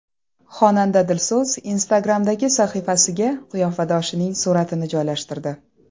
Xonanda Dilso‘z Instagram’dagi sahifasiga qiyofadoshining suratini joylashtirdi.